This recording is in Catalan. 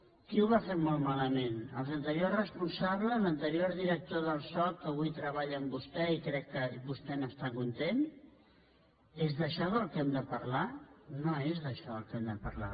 qui ho va fer molt malament els anteriors responsables l’ante rior director del soc que avui treballa amb vostè i crec que vostè n’està content és d’això del que hem de parlar no és d’això del que hem de parlar